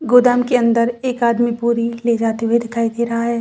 गोदाम के अंदर एक आदमी बोरी ले जाते दिखाई दे रहा है।